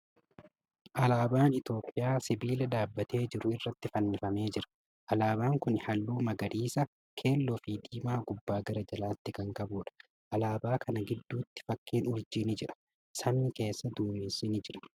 Alaabaan Itiyoophiyaa sibiila dhaabbatee jiru irratti fannifamee jira. Alaabaan kuni halluu magariisa, keelloo fi diimaa gubbaa gara jalaatti kan qabuudha. Alaabaa kana giddutti fakkiin urjii ni jira. Samii keessa duumessi ni jira.